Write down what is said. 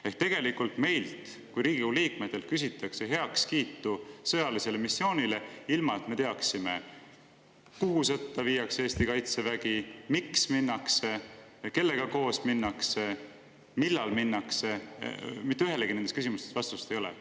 Ehk tegelikult meilt kui Riigikogu liikmetelt küsitakse heakskiitu sõjalisele missioonile, ilma et me teaksime, kuhu sõtta Eesti kaitsevägi viiakse, miks minnakse, kellega koos minnakse, millal minnakse – mitte ühelegi nendest küsimustest vastust ei ole.